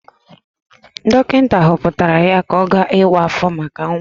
Dọkịta họpụtara ya ka ọ gaa ịwa áfọ̀ maka nwa.